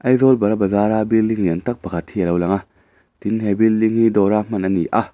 aizawl bara bazar a building lian tâk pakhat hi alo lang a tin he building hi dawra hman ani a.